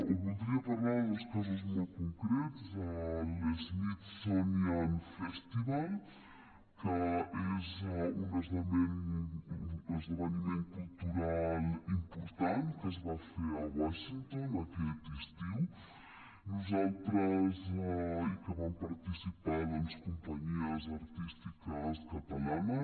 voldria parlar de dos casos molt concrets l’smithsonian festival que és un esdeveniment cultural important que es va fer a washington aquest estiu i en què van participar doncs companyies artístiques catalanes